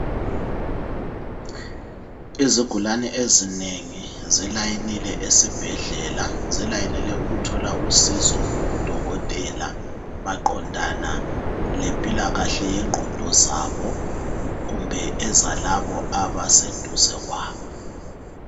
Izigulane ezinengi zilayinile esibhedlela zilayinele ukuthola usizo kudokotela maqondana lempilakahle yengqondo zabo kumbe ezalabo abaseduze kwabo.